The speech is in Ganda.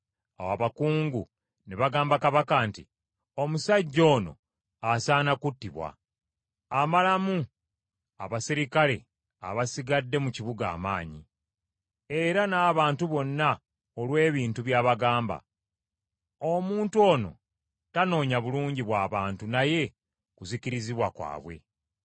Awo abakungu ne bagamba kabaka nti, “Omusajja ono asaana kuttibwa. Amalamu abaserikale abasigadde mu kibuga amaanyi, era n’abantu bonna, olw’ebintu by’abagamba. Omuntu ono tanoonya bulungi bw’abantu naye kuzikirizibwa kwabwe.”